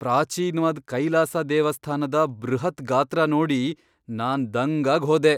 ಪ್ರಾಚೀನ್ವಾದ್ ಕೈಲಾಸ ದೇವಸ್ಥಾನದ ಬೃಹತ್ ಗಾತ್ರ ನೋಡಿ ನಾನ್ ದಂಗಾಗ್ ಹೋದೆ!